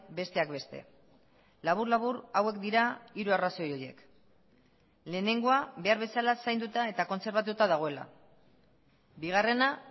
besteak beste labur labur hauek dira hiru arrazoi horiek lehenengoa behar bezala zainduta eta kontserbatuta dagoela bigarrena